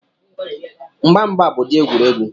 Mgba mgba bụ ụdị egwuregwu